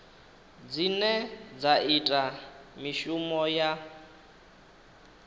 dzine dza ita mishumo ya